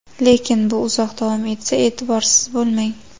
Lekin bu uzoq davom etsa, e’tiborsiz bo‘lmang.